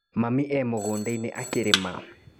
Mami e mũgũndainĩ akĩrĩmĩra.